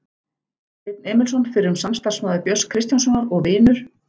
Steinn Emilsson, fyrrum samstarfsmaður Björns Kristjánssonar og vinur